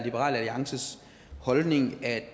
træning af